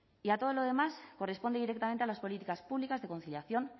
y a todo lo demás corresponde directamente a las políticas públicas de conciliación